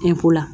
Eko la